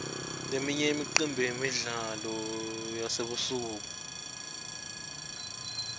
leminye imicimbi yemidlalo yasebusuku